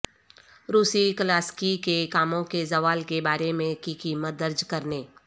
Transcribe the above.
روسی کلاسیکی کے کاموں کے زوال کے بارے میں کی قیمت درج کرنے